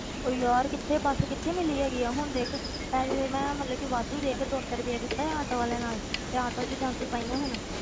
ਓਹ ਯਾਰ ਕਿੱਥੇ ਬੱਸ ਕਿੱਥੇ ਮਿਲੀ ਹੈਗੀ ਹੈ, ਹੁਣ ਦੇਖ ਪਹਿਲੇ ਮੈਂ ਮਤਲਬ ਕਿ ਵਾਧੂ ਦੇ ਕੇ ਦੋ ਸੌ ਰੁਪਇਆ ਕੀਤਾ ਸੀ ਆਟੋ ਵਾਲੇ ਨਾਲ ਤੇ ਆਟੋ ਵਿੱਚ ਜਾਂਦੀ ਪਈ ਹਾਂ ਹੁਣ।